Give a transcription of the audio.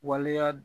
Waleya